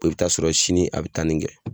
I bɛ taa sɔrɔ sini a bɛ tanni kɛ.